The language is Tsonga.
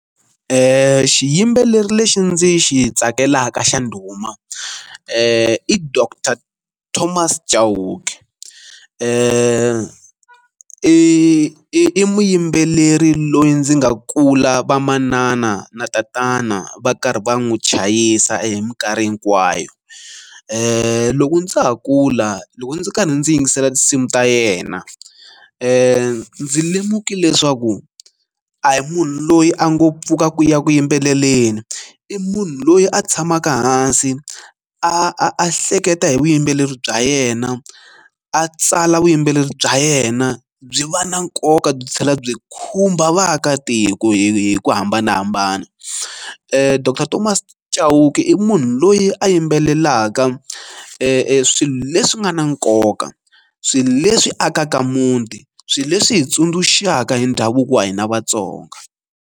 Xiyimbeleri lexi ndzi xi tsakelaka xa ndhuma i doctor Thomas Chauke, i i i muyimbeleri loyi ndzi nga kula vamanana na tatana va karhi va n'wi chayisa hi minkarhi hinkwayo. Loko ndza ha kula loko ndzi karhi ndzi yingisela tinsimu ta yena ndzi lemukile leswaku a hi munhu loyi a ngo pfuka ku ya ku yimbeleleni i munhu loyi a tshamaka hansi a a a hleketa hi vuyimbeleri bya yena a tsala vuyimbeleri bya yena byi va na nkoka byi tlhela byi khumba vaakatiko hi hi ku hambanahambana. Doctor Thomas Chauke i munhu loyi a yimbelelaka swilo leswi nga na nkoka, swilo leswi akaka muti, swilo leswi hi tsundzuxaka hi ndhavuko wa hina Vatsonga.